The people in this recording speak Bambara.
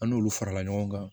An n'olu farala ɲɔgɔn kan